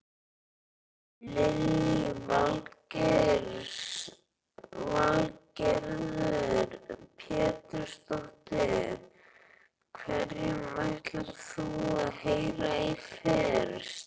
Lillý Valgerður Pétursdóttir: Hverjum ætlar þú að heyra í fyrst?